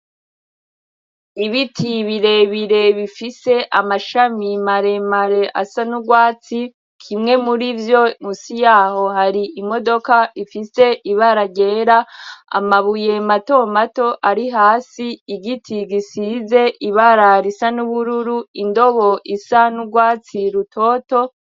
Ibiti birebire bifise amashami maremare asa n'urwatsi kimwe muri vyo musi yaho hari imodoka ifise ibararera amabuye matomato ari hasi igiti gisize ibararo isa n'ubururu indobo isanurwa watsi lutoto.